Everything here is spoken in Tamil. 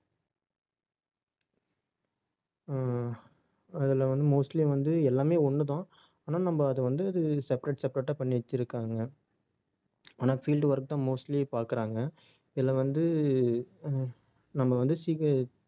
அஹ் அதுல வந்து, mostly வந்து, எல்லாமே ஒண்ணுதான் ஆனா, நம்ம அதை வந்து அது separate separate ஆ பண்ணி வச்சிருக்காங்க. ஆனா field work தான் mostly பாக்குறாங்க. இதுல வந்து அஹ் நம்ம வந்து